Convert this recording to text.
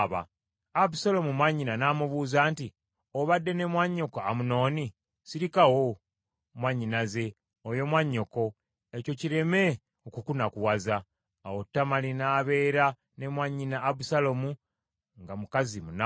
Abusaalomu mwannyina n’amubuuza nti, “Obadde ne mwannyoko Amunoni? Sirikawo mwannyinaze, oyo mwannyoko. Ekyo kireme okukunakuwaza.” Awo Tamali n’abeeranga ne mwannyina Abusaalomu, nga mukazi munaku.